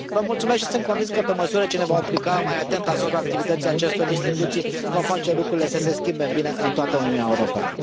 Vă mulțumesc și sunt convins că, pe măsură ce ne vom apleca mai atent asupra activității acestor instituții, vom face lucrurile să se schimbe în bine în toată Uniunea Europeană.